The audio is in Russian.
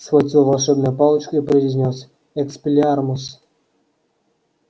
схватил волшебную палочку и произнёс экспеллиармус